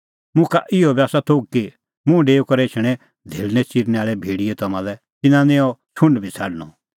मुखा इहअ बी आसा थोघ कि मुंह डेऊई करै एछणैं धेल़णै च़िरनैं आल़ै भेड़ियै तम्हां लै तिन्नां निं अह छ़ुंड बी छ़ाडणअ